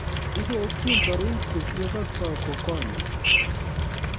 Ibokyin taritik ye kotoi kokonyo